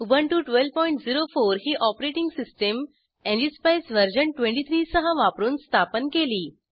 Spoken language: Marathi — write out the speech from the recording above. उबुंटू 1204 ही ऑपरेटिंग सिस्टम एनजीएसपाईस व्हर्शन 23 सह वापरून स्थापन केली